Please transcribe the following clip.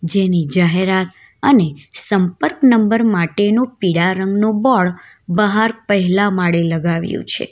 જેની જાહેરાત અને સંપર્ક નંબર માટેનું પીળા રંગ નું બોર્ડ બહાર પહેલા માળે લગાવ્યુ છે.